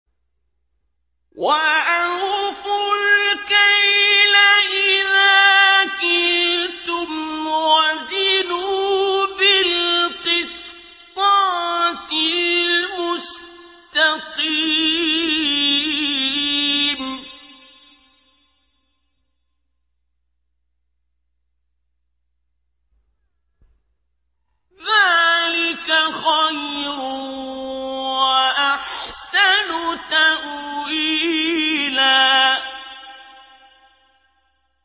وَأَوْفُوا الْكَيْلَ إِذَا كِلْتُمْ وَزِنُوا بِالْقِسْطَاسِ الْمُسْتَقِيمِ ۚ ذَٰلِكَ خَيْرٌ وَأَحْسَنُ تَأْوِيلًا